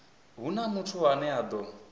huna muthu ane a ḓo